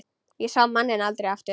Ég sá manninn aldrei aftur.